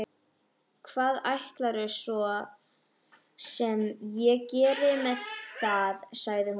Hvað ætlarðu svo sem að gera með það, sagði hún.